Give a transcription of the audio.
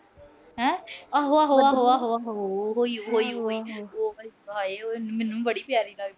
ਹਾਂ। ਆਹੋ ਅਹ ਆਹੋ ਅਹ ਆਹੋ ਅਹ ਆਹੋ ਅਹ ਆਹੋ। ਉਹ ਈ ਅਹ ਉਹ ਈ। ਹਾਏ ਉਏ ਮੈਨੂੰ ਬੜੀ ਪਿਆਰੀ ਲੱਗਦੀ ਏ।